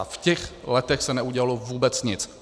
A v těch letech se neudělalo vůbec nic.